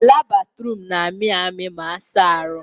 Ala Bathroom na amị amị ma asa ha arụ